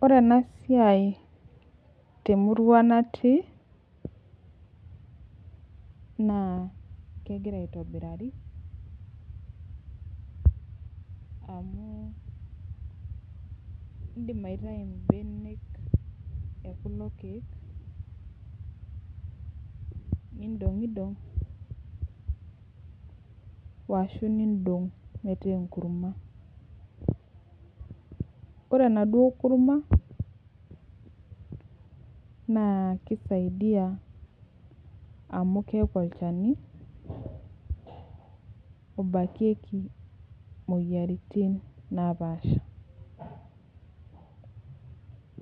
Ore enasiai temurua natii na kegira aitobirari amu indim aitau mbenek tekulo kiek nindongidong ashu indong metaa enkurma ore enaduo kurma na kisaidia amu keaku olchani obakieki moyiaritin napaasha